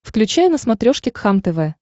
включай на смотрешке кхлм тв